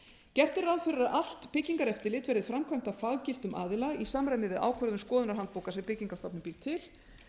gert er ráð fyrir að allt byggingareftirlit verði framkvæmt af faggiltum aðila í samræmi við ákvörðun skoðunarhandbókar sem byggingarstofnun býr til